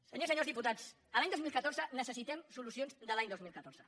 senyores i senyors diputats l’any dos mil catorze necessitem solucions de l’any dos mil catorze